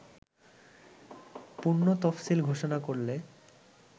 পুনঃতফসিল ঘোষণা করলে